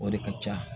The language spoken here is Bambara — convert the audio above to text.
O de ka ca